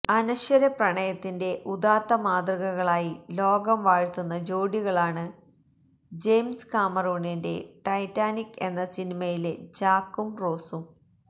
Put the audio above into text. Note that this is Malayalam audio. അനശ്വര പ്രണയത്തിൻ്റെ ഉദാത്ത മാതൃകകളായി ലോകം വാഴ്ത്തുന്ന ജോഡികളാണ് ജെയിംസ് കാമറൂണിന്റെ ടെെറ്റാനിക് എന്ന സിനിമയിലെ ജാക്കും റോസും